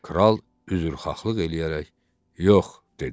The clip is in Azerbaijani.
Kral üzrxahlıq eləyərək: Yox, dedi.